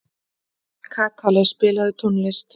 Kakali, spilaðu tónlist.